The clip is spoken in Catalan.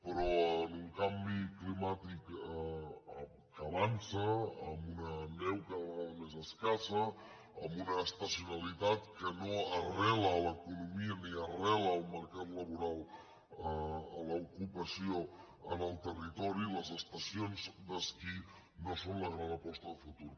però amb un canvi climàtic que avança amb una neu cada vegada més escassa amb una estacionalitat que no arrela a l’economia ni arrela al mercat laboral a l’ocupació en el territori les estacions d’esquí no són la gran aposta de futur